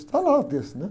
Está lá o texto, não é?